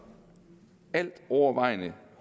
altovervejende